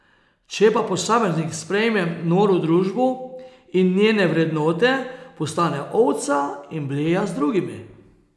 Če pa posameznik sprejme noro družbo in njene vrednote, postane ovca in bleja z drugimi.